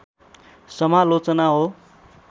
समालोचना हो